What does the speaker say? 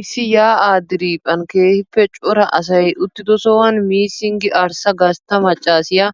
Issi yaa'aa diriiphphan keehiippe cora asay uttidosaan missing arssa gastta maccaasiya